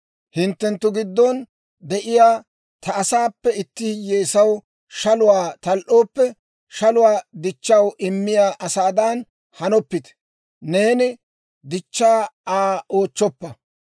«Hinttenttu giddon de'iyaa ta asaappe itti hiyyeesaw shaluwaa tal"ooppe, shaluwaa dichchaw immiyaa asaadan hanoppite; neeni dichchaa Aa oochchoppa.